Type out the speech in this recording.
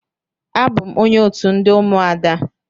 Abụ m onye otu ndị ụmụada.